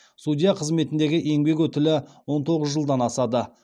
судья қызметіндегі еңбек өтілі он тоғыз жылдан асады